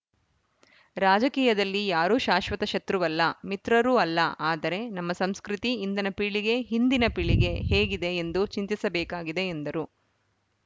ರಾಜಕೀಯದಲ್ಲಿ ಯಾರೂ ಶಾಶ್ವತ ಶತ್ರುವಲ್ಲ ಮಿತ್ರರೂ ಅಲ್ಲ ಆದರೆ ನಮ್ಮ ಸಂಸ್ಕೃತಿ ಇಂದಿನ ಪೀಳಿಗೆ ಹಿಂದಿನ ಪೀಳಿಗೆ ಹೇಗಿದೆ ಎಂದು ಚಿಂತಿಸಬೇಕಾಗಿದೆ ಎಂದರು